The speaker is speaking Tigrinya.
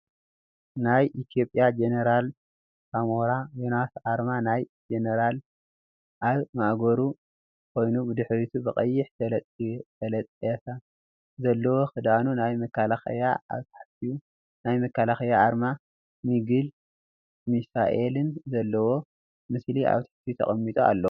ናይ ኢትዮጽያ ጀነራል ሳሞራ ዮኑስ ኣርማ ናይ ጀነራልኣብ ማእገሩ ኮይኑ ብድሕሪቱ ብቀይሕ ተለጠፈ ዘለዎ ክዳኑ ናይ መከላለያ ኣብ ታሕቱ ናይ መከላከያ ኣርማ ሚግን ሚሳኤልን ዘለዎ ምስሊ ኣብ ትሕቲኡ ተቀሚጡ ኣሎ።